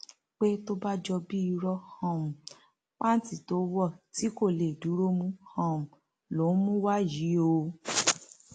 pé tó bá jọ bíi ìró um pàǹtí tó wọ tí kò lè dúró mú um lòún mú wá yìí o o